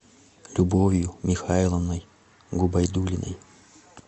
любовью михайловной губайдуллиной